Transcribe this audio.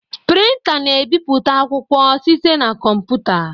Printá na-ebipụta akwụkwọ site na kọmputa.